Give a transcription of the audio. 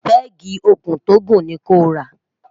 pegi òkun tó gùn ni kò rà